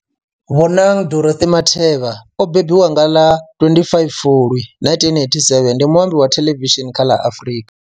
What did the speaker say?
Bonang Dorothy Matheba o mbembiwa nga ḽa 25 Fulwi 1987, ndi muambi wa thelevishini kha ḽa Afrika.